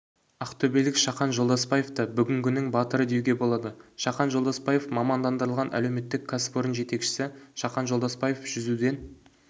ақтөбелік шахан жолдасбаевты бүгінгінің батыры деуге болады шахан жолдасбаев мамандандырылған әлеуметтік кәсіпорын жетекшісі шахан жолдасбаев жүзуден